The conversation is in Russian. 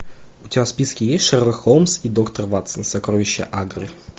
у тебя в списке есть шерлок холмс и доктор ватсон сокровища агры